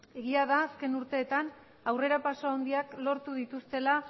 egia den azken urteetan aurrera pausu handiak lortu dituztela